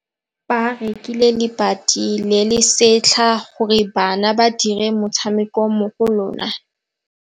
Ba rekile lebati le le setlha gore bana ba dire motshameko mo go lona.